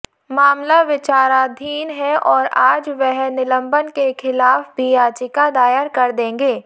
मामला विचाराधीन है और आज वह निलंबन के खिलाफ भी याचिका दायर कर देंगे